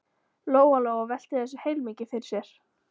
Lóa-Lóa velti þessu heilmikið fyrir sér.